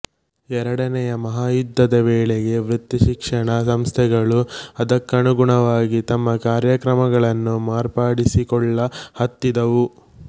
ಎರಡನೆಯ ಮಹಾಯುದ್ಧದ ವೇಳೆಗೆ ವೃತ್ತಿಶಿಕ್ಷಣ ಸಂಸ್ಥೆಗಳು ಅದಕ್ಕನುಗುಣವಾಗಿ ತಮ್ಮ ಕಾರ್ಯಕ್ರಮಗಳನ್ನು ಮಾರ್ಪಡಿಸಿಕೊಳ್ಳ ಹತ್ತಿದವು